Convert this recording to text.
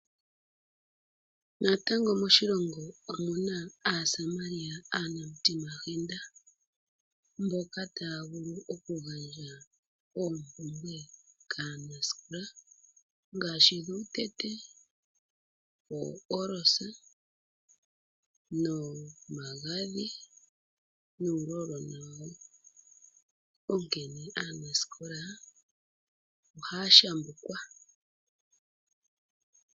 Natango moshilongo omuna aasamaria aanamutimahenda mboka taya vulu okugandja oompwumbwe kaanasikola ngaashi dhuutete, oolosa, nomagadhi gomoohwapa onkene aanasikola ohaya shambukwa.